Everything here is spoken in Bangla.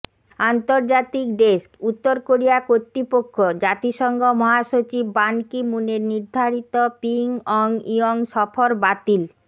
আন্তর্জাতিক ডেস্কঃ উত্তর কোরিয়া কর্তৃপক্ষ জাতিসংঘ মহাসচিব বান কি মুনের নির্ধারিত পিংয়ংইয়ং সফর বাতিল